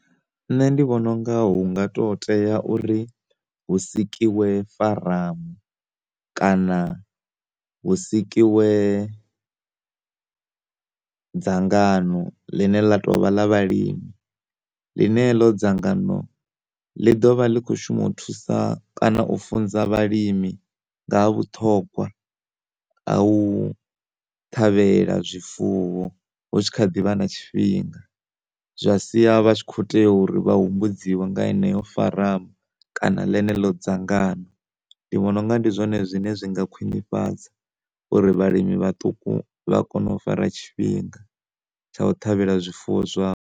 Nṋe ndi vhona unga hu nga to tea uri hu sikiwe faramu kana hu sikiwe dzangano ḽine ḽa tovha ḽa vhalimi ḽine heḽo dzangano ḽi ḓovha ḽi kho shuma u thusa kana u funza vhalimi nga ha vhuṱhogwa ha u ṱhavhela zwifuwo hu tshi kha ḓivha na tshifhinga zwa sia vha tshi kho tea uri vha humbudziwe nga yeneo faramu kana ḽeneḽo dzangano ndi vhona unga ndi zwone zwine zwinga khwinifhadza uri vhalimi vhaṱuku vha kone u fara tshifhinga tsha u ṱhavhela zwifuwo zwavho.